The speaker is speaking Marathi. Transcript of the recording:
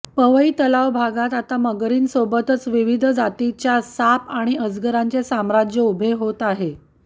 पवई तलाव भागात आता मगरीं सोबतच विविध जातीच्या साप आणि अजगरांचे साम्राज्य उभे होत आहे